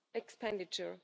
expenditure.